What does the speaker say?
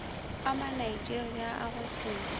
a manigeria a go se